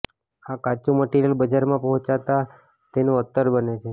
આ કાચું મટીરીયલ બજારમાં પહોંચતાં તેનું અત્તર બને છે